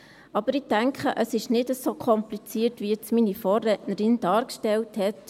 Aber ich denke, es ist nicht so kompliziert, wie es meine Vorrednerin soeben dargestellt hat.